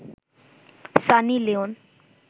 Sunny Leone